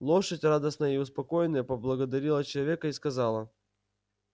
лошадь радостная и успокоенная поблагодарила человека и сказала